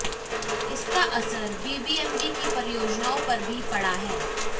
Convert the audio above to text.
इसका असर बीबीएमबी की परियोजनाओं पर भी पड़ा है